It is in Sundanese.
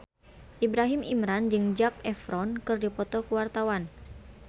Ibrahim Imran jeung Zac Efron keur dipoto ku wartawan